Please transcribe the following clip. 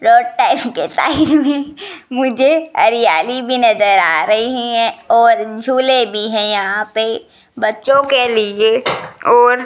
मुझे हरियाली भी नजर आ रही हैं और झूले भी हैं यहां पे बच्चों के लिए और --